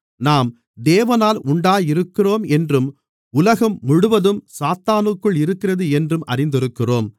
நாம் தேவனால் உண்டாயிருக்கிறோம் என்றும் உலகம் முழுவதும் சாத்தானுக்குள் இருக்கிறது என்றும் அறிந்திருக்கிறோம்